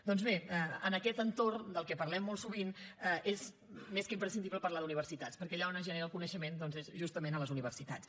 doncs bé en aquest entorn del qual parlem molt sovint és més que imprescindible parlar d’universitats perquè allà on es genera el coneixement és justament a les universitats